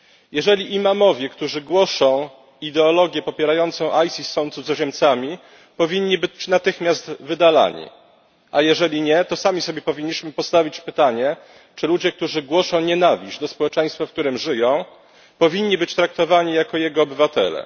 Jeżeli imamowie, którzy głoszą ideologię popierającą ISIS, są cudzoziemcami, powinni być natychmiast wydalani, a jeżeli nie, to sami sobie powinniśmy postawić pytanie czy ludzie, którzy głoszą nienawiść do społeczeństwa, w którym żyją, powinni być traktowani jako jego obywatele.